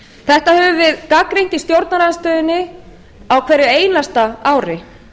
þetta höfum við gagnrýnt í stjórnarandstöðunni á hverju einasta ári